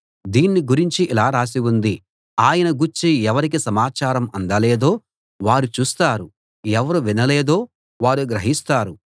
దీన్ని గురించి ఇలా రాసి ఉంది ఆయన గూర్చి ఎవరికి సమాచారం అందలేదో వారు చూస్తారు ఎవరు వినలేదో వారు గ్రహిస్తారు